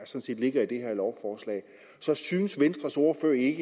set ligger i det her lovforslag synes venstres ordfører ikke